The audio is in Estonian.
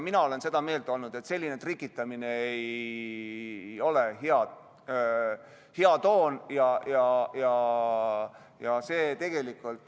Mina olen seda meelt olnud, et selline trikitamine ei ole hea toon.